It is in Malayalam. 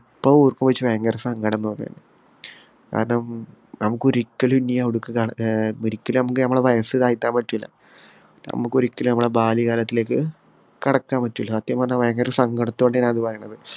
ഇപ്പൊ ഓര്‍മ്മിച്ചാ ഭയങ്കര സങ്കടം തോന്നുന്നു. കാരണം നമുക്ക് ഒരിക്കലും ഇനി അവിടേക്ക് ഒരിക്കലും നമ്മക്ക് നമ്മളെ വയസ്സ് താഴ്ത്താൻ പറ്റൂല. നമ്മക്ക് ഒരിക്കലും നമ്മളെ ബാല്യകാലത്തിലേക്ക് കടക്കാൻ പറ്റൂല. സത്യം പറഞ്ഞാൽ ഭയങ്കര സങ്കടത്തോടെയാണ് ഞാനിത് പറയുന്നത്.